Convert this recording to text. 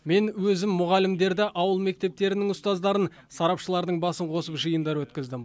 мен өзім мұғалімдерді ауыл мектептерінің ұстаздарын сарапшылардың басын қосып жиындар өткіздім